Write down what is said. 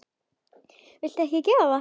Viltu ekki gera það!